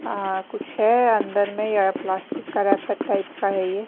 आ कुछ है अंदर में या प्लास्टिक का रैपर टाइप का है ये --